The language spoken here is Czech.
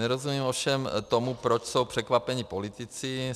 Nerozumím ovšem tomu, proč jsou překvapení politici.